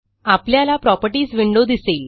आपल्याला properties window दिसेल